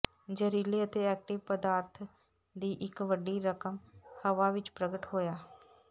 ਜ਼ਹਿਰੀਲੇ ਅਤੇ ਐਕਟਿਵ ਪਦਾਰਥ ਦੀ ਇੱਕ ਵੱਡੀ ਰਕਮ ਹਵਾ ਵਿੱਚ ਪ੍ਰਗਟ ਹੋਇਆ